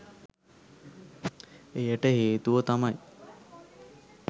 එයට හේතුව තමයි